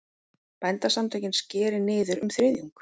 Bændasamtökin skeri niður um þriðjung